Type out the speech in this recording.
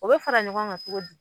O be fara ɲɔgɔn ŋan cogo di?